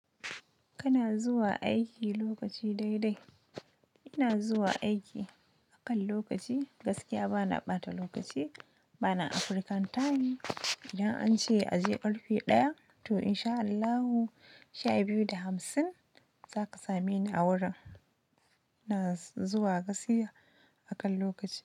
Kana zuwa aiki lokaci dai dai? Ina zuwa aiki akan lokaci gaskiya bana ɓata lokaci bana African time. Idan an ce a je ƙarfe ɗaya to in sha Allahu sha biyu da hamsin zaka same ni a wurin. Ina zuwa gaskiya akan lokaci.